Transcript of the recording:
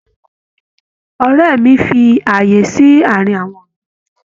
Ọrẹ́ mí fí ààyè sí àárín àwọn ọ̀gbìn.